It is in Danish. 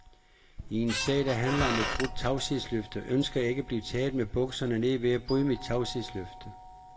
I en sag, der handler om et brudt tavshedsløfte, ønsker jeg ikke at blive taget med bukserne nede ved at bryde mit tavshedsløfte.